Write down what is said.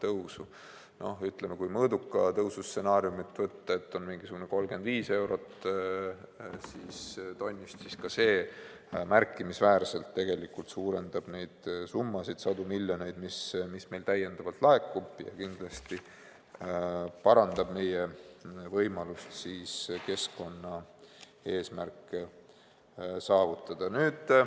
Kui võtta mõõduka tõusu stsenaarium, et hind on 35 eurot tonni eest, siis ka see märkimisväärselt suurendab neid summasid, sadu miljoneid, mis meile täiendavalt laekuvad, ja kindlasti parandab meie võimalusi keskkonnaeesmärke saavutada.